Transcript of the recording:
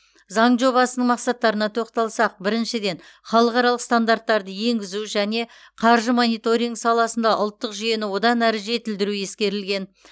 заң жобасының мақсаттарына тоқталсақ біріншіден халықаралық стандарттарды енгізу және қаржы мониторингі саласында ұлттық жүйені одан әрі жетілдіру ескерілген